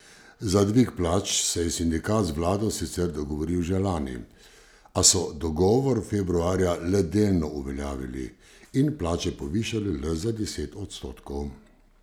Za dvig plač se je sindikat z vlado sicer dogovoril že lani, a so dogovor februarja le delno uveljavili in plače povišali le za deset odstotkov.